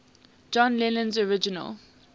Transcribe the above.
john lennon's original